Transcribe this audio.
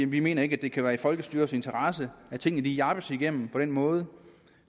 vi mener ikke det kan være i folkestyrets interesse at tingene jappes igennem på den måde